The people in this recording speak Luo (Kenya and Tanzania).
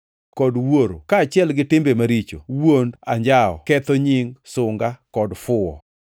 kod wuoro; kaachiel gi timbe maricho, wuond, anjawo, ketho nying, sunga kod fuwo.